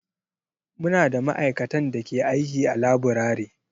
Muna da ma'aikatan da ke aiki a laburare.